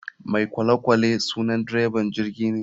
Mai kolekwale sunan dreban jirgine.